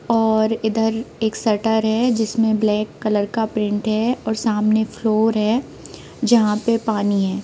और इधर एक शटर है जिसमे ब्लैक कलर का पेंट है और सामने फ्लोर है जहाँ पर पानी है।